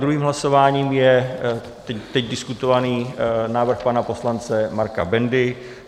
Druhým hlasováním je teď diskutovaný návrh pana poslance Marka Bendy.